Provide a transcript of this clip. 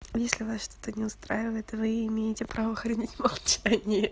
если вас что-то не устраивает вы имеете право хранить молчание